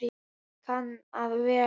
Það kann að vera